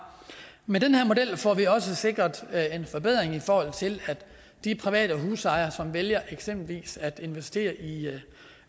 med den her model får vi også sikret at de private husejere som vælger eksempelvis at investere i